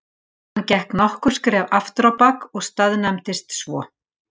Hann gekk nokkur skref afturábak og staðnæmdist svo.